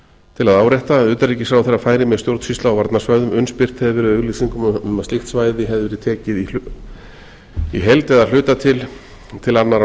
til að árétta að utanríkisráðherra færi með stjórnsýslu á varnarsvæðinu um slíkt hefur í auglýsingum að slíkt svæði hefði verið tekið í heild eða að hluta til annarra